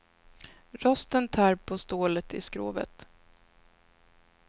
Rosten tär på stålet i skrovet.